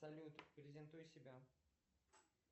салют презентуй себя